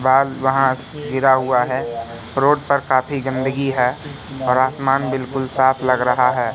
गिरा हुआ है रोड पर काफी गंदगी है और आसमान बिल्कुल साफ लग रहा है।